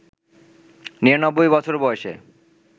৯৯ বছর বয়সে